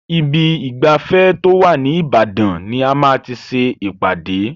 Ibi ìgbafẹ́ tó wà ní Ìbàdàn ni a ma ti ṣe ìpàdé.